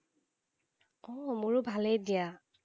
অঁহ, মোৰো ভালেই দিয়া।